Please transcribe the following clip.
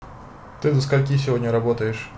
ты до скольки сегодня работаешь